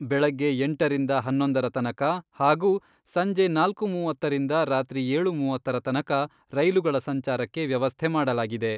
ಬೆಳಗ್ಗೆ ಎಂಟರಿಂದ ಹನ್ನೊಂದರ ತನಕ ಹಾಗೂ ಸಂಜೆ ನಾಲ್ಕು ಮೂವತ್ತರಿಂದ ರಾತ್ರಿ ಏಳು ಮೂವತ್ತರ ತನಕ ರೈಲುಗಳ ಸಂಚಾರಕ್ಕೆ ವ್ಯವಸ್ಥೆ ಮಾಡಲಾಗಿದೆ.